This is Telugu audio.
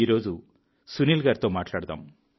ఈరోజు సునీల్ గారితో మాట్లాడదాం